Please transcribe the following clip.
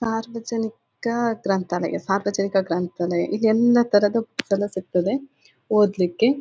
ಸಾರ್ವಜನಿಕ ಗ್ರಂಥಾಲಯ ಸಾರ್ವಜನಿಕ ಗ್ರಂಥಾಲಯ ಇಲ್ಲಿ ಎಲ್ಲ ತರದ ಬುಕ್ಸ್ ಎಲ್ಲ ಸಿಗತ್ತದ್ದೆ ಓದ್ಲಿಕ್ಕೆ.